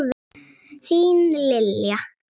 Þín, Lilja.